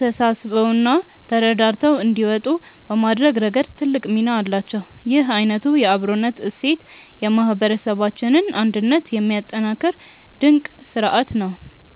ተሳስበውና ተረዳድተው እንዲወጡ በማድረግ ረገድ ትልቅ ሚና አላቸው። ይህ አይነቱ የአብሮነት እሴት የማህበረሰባችንን አንድነት የሚያጠናክር ድንቅ ስርአት ነው።